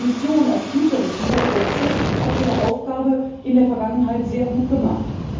Die Kommission als Hüterin dieser Gesetze hat ihre Aufgabe in der Vergangenheit sehr gut gemacht.